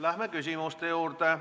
Lähme küsimuste juurde.